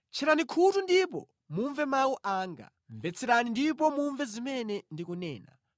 Tcherani khutu ndipo mumve mawu anga; mvetserani ndipo mumve zimene ndikunena.